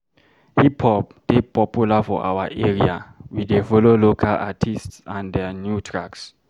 Hip-hop dey popular for our area, we dey follow local artists and their new tracks.